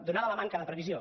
donada la manca de previsió